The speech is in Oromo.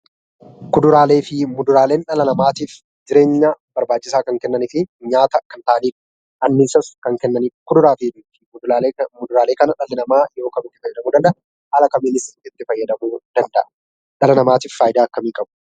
Kuduraaleef muduraaleen dhala namaatiif jireenya barbaachisaa kan kennanii fi nyaata kan ta'anidha. Anniisas kan kennanidha . Kuduraaleef muduraalee kana dhalli namaa yeroo kam itti fayyadamuu danda'a? Haala kamiinis itti fayyadamuu danda'a? dhala namaatiif faayidaa akkamii qabu?